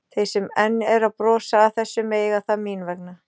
Þeir sem enn eru að brosa að þessu mega það mín vegna.